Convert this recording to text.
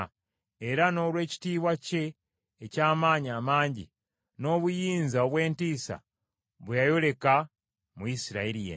era n’olw’ekitiibwa kye eky’amaanyi amangi, n’obuyinza obw’entiisa bwe yayoleka mu Isirayiri yenna.